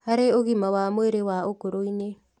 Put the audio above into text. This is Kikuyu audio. Harĩ ũgima wa mwĩrĩ wa ũkũrũ-inĩ